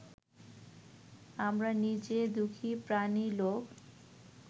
আমরা নিজে দুঃখী প্রাণী লোক